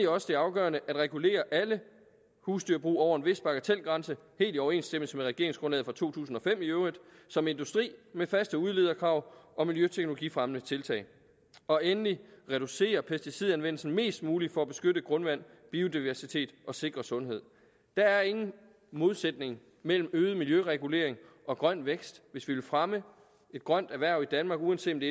også det afgørende at regulere alle husdyrbrug over en vis bagatelgrænse helt i overensstemmelse med regeringsgrundlaget fra to tusind og fem i øvrigt som industri med faste udlederkrav og miljøteknologifremmende tiltag og endelig at reducere pesticidanvendelsen mest muligt for at beskytte grundvand biodiversitet og sikre sundhed der er ingen modsætning mellem øget miljøregulering og grøn vækst hvis vi vil fremme et grønt erhverv i danmark uanset